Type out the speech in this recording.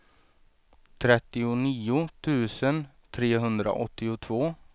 trettionio tusen trehundraåttiotvå